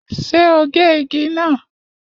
Ṣé o gé igi náà?